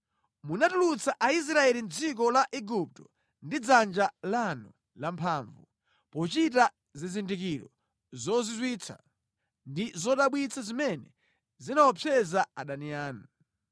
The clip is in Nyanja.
Munatulutsa Aisraeli mʼdziko la Igupto ndi dzanja lanu lamphamvu pochita zizindikiro zozizwitsa ndi zodabwitsa zimene zinaopseza adani anu.